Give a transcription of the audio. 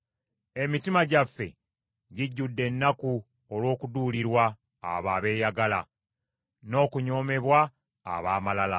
Emitima gyaffe gijjudde ennaku olw’okuduulirwa abo abeeyagala, n’okunyoomebwa ab’amalala.